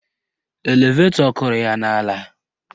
Elevetọ kụrụ ya n'ala.